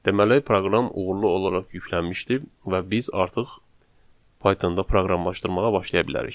Deməli, proqram uğurlu olaraq yüklənmişdir və biz artıq Pythonda proqramlaşdırmağa başlaya bilərik.